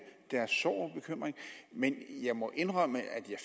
deres sorg og bekymring men jeg må indrømme at jeg